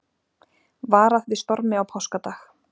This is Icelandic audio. Varað við stormi á páskadag